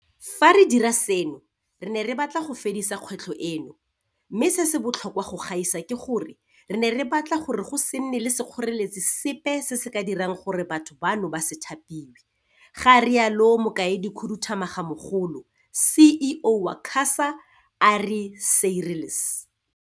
"Fa re dira seno re ne re batla go fedisa kgwetlho eno mme, se se botlhokwa go gaisa ke gore, re ne re batla gore go se nne le sekgoreletsi sepe se se ka dirang gore batho bano ba se thapiwe," ga rialo Mokaedikhuduthamagamogolo, CEO, wa QASA Ari Seirlis.